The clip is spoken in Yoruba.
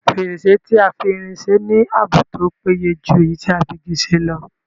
Fèrèsé tí a fi irin se ní ààbò tó péye jù èyí tí a fi Igi ṣe lọ